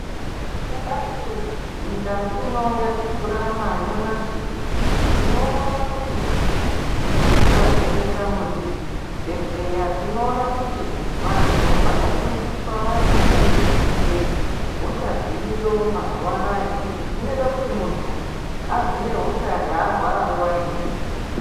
Kudai nyika ino yatikurarama nyamashi tinoona kuti tikavheneka muzvibhedhleya tinoona kuti vantu vanofundiswa maringe ngehosha dziriyo mazuwa anaya izvi zvinoita kuti muntu aziye hosha yaarwara nguwa iripo.